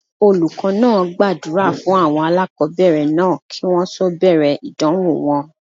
Olùkọ́ náà gbàdúrà fún àwọn aláàkọ́bẹ̀rẹ̀ náà kí wọ́n tó bẹ̀rẹ̀ ìdánwò wọn.